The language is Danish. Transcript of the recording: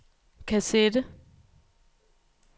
kassette